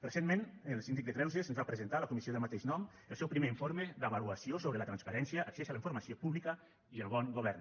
recentment el síndic de greuges ens va presentar a la comissió del mateix nom el seu primer informe d’avaluació sobre la transparència accés a la informació pública i el bon govern